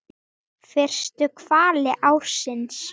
Fyrstu hvali ársins?